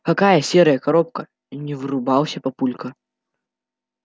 какая серая коробка не врубился папулька